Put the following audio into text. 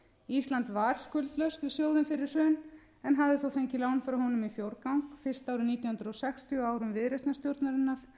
ísland var skuldlaust við sjóðinn fyrir hrun en hafði þó fengið lán frá honum í fjórgang fyrst árið nítján hundruð sextíu á árum viðreisnarstjórnarinnar